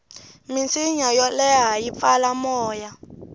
minsinya yo leha yi pfala moya